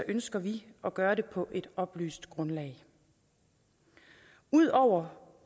ønsker vi at gøre det på et oplyst grundlag ud over